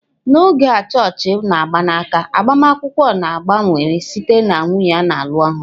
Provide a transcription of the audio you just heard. N'oge a chọọchị mgbanaka agbamakwụkwọ na-gbanwere site na nwunye na-alụ ọhụrụ.